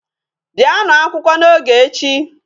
Bịanụ akwụkwọ n'oge echi.